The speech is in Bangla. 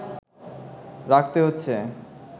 রাখতে হচ্ছে